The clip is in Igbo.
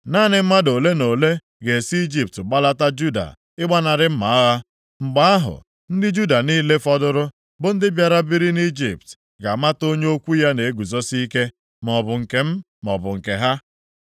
Naanị mmadụ ole na ole ga-esi Ijipt gbalata Juda ịgbanarị mma agha. Mgbe ahụ ndị Juda niile fọdụrụ, bụ ndị bịara biri nʼIjipt, ga-amata onye okwu ya na-eguzosi ike, maọbụ nke m, maọbụ nke ha.